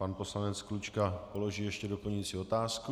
Pan poslanec Klučka položí ještě doplňující otázku.